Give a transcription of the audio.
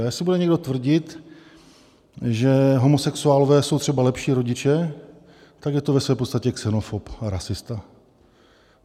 A jestli bude někdo tvrdit, že homosexuálové jsou třeba lepší rodiče, tak je to ve své podstatě xenofob a rasista.